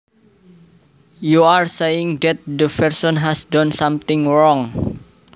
you are saying that the person has done something wrong